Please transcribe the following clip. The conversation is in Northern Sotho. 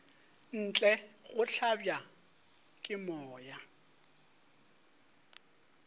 ntle go hlabja ke moya